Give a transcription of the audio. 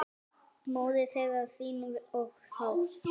móðir þeirra hrín við hátt